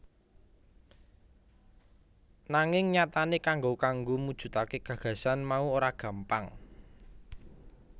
Nanging nyatane kanggo kanggo mujudake gagasan mau ora gampang